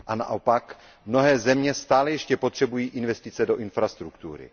A naopak, mnohé země stále ještě potřebují investice do infrastruktury.